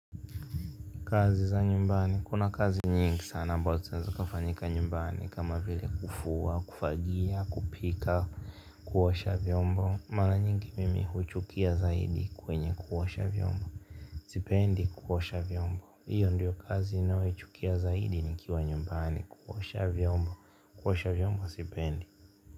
Kazi za nyumbani, kuna kazi nyingi sana, ambazo zinaweza kafanyika nyumbani, kama vile kufua, kufagia, kupika, kuosha vyombo mara nyingi mimi huchukia zaidi kwenye kuosha vyombo, sipendi kuosha vyombo hiyo ndiyo kazi ninayoichukia zaidi nikiwa nyumbani kuosha vyombo, kuosha vyombo sipendi.